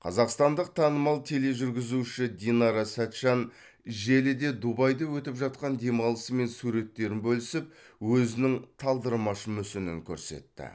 қазақстандық танымал тележүргізуші динара сәтжан желіде дубайда өтіп жатқан демалысы мен суреттерін бөлісіп өзінің талдырмаш мүсінін көрсетті